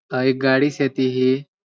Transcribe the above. एक गाड़ी छेती ही.